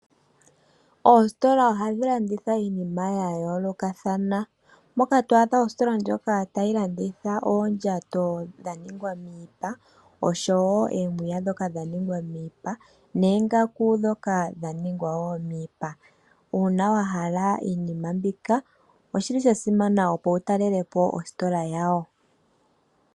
Oositola ohadhi landitha iinima ya yooloka thana moka to adha ositola ndjika tayi landitha oondjato dha ningwa miipa oshowo omiya ndhoka dha ningwa miipia noongaku ndhoka woo dha ningwa miipa. Uuna wahalla iinima mbika oshili sha simana opo wu talelepo ositola yawo.